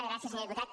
gràcies senyor diputat